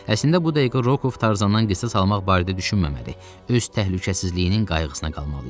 Əslində bu dəqiqə Rokov Tarzandan qisas almaq barədə düşünməməli, öz təhlükəsizliyinin qayğısına qalmalı idi.